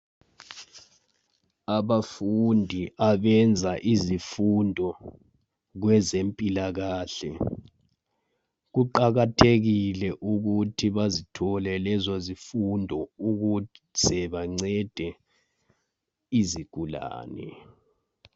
abafundi abenza izifundo kwezempilakahle kuqakathekile ukuthi bazothole lezo zifundo ukuze bancede izigulane